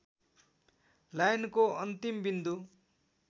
लाइनको अन्तिम बिन्दु